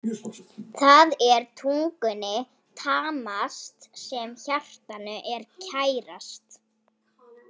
Það er tungunni tamast sem hjartanu er kærast.